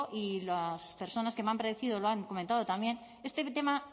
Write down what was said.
y las personas que me han precedido lo han comentado también este tema